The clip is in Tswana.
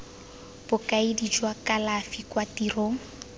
bokaedi jwa kalafi kwa tirong